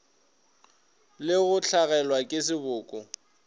le go hlagelwa ke seboko